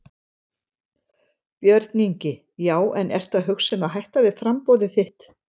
Björn Ingi: Já en ertu að hugsa um að hætta við framboðið þitt?